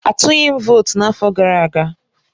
Atụghị m votu n'afọ gara aga